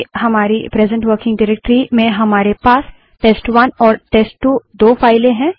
मान लो कि हमारी प्रेसेंट वर्किंग डाइरेक्टरी में हमारे पास टेस्ट1 और टेस्ट2 दो फाइलें हैं